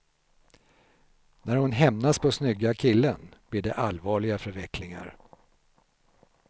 När hon hämnas på snygga killen blir det allvarliga förvecklingar.